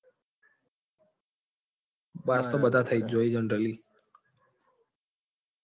Pass તો બધા થઇ જાય છે generally.